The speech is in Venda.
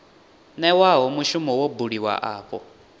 newaho mushumo wo buliwaho afho